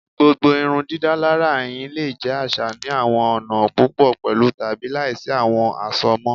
Gbogbo irundidalara ẹhin le jẹ aṣa ni awọn ọna pupọ pẹlu tabi laisi awọn asomọ